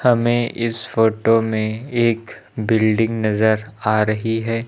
हमें इस फोटो में एक बिल्डिंग नजर आ रही है।